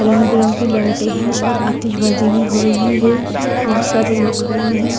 रंग बिरंगी लाइटे है और आतिशबाजी भी हो रही है बहोत सारे लोग खड़े हैं।